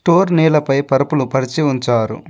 టోర్ నేలపై పరుపులు పరిచి ఉంచారు.